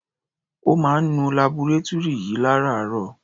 Ó máa ń nu labọretúrì yìí lárààárọ̀.